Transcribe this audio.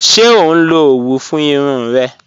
Ṣẹ o nlọ owú fún irùn rẹ?